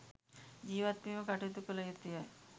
ජීවත්වීම කටයුතු කළ යුතුය.